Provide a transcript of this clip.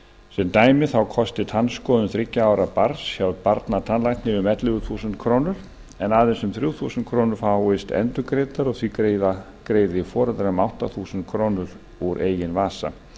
sem dæmi kosti tannskoðun þriggja ára barns hjá barnatannlækni um ellefu þúsund krónur en aðeins um þrjú þúsund krónur fáist endurgreiddar og því greiði foreldrar um átta þúsund krónur úr eigin vasa